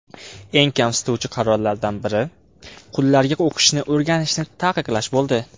Eng kamsituvchi qarorlardan biri, qullarga o‘qishni o‘rganishni taqiqlash bo‘ldi.